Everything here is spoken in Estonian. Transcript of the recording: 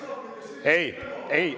Ei, ei …